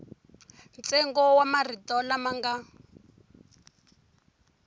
ntsengo wa marito lama nga